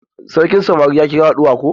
Sarkin samari ya kira haduwa ko?